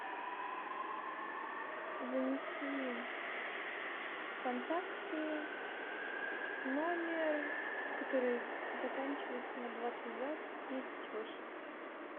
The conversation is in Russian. занеси в контакты номер который заканчивается на двадцать два тридцать восемь